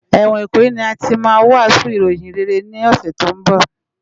Èwòn Ikoyi ni àtí mà wàsún iróyin réré ni òsè tó n bò